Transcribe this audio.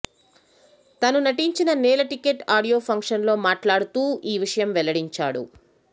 తను నటించిన Nela Ticket audio function లో మాట్లాడుతూ ఈ విషయం వెల్లడించాడు